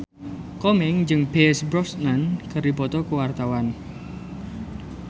Komeng jeung Pierce Brosnan keur dipoto ku wartawan